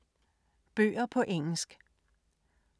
Bøger på engelsk